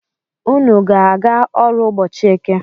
Unu ga-aga ọrụ ụbọchi Eke?